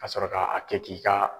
Ka sɔrɔ ka a kɛ k'i ka